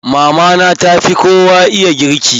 Mama na ta fi kowa iya girki.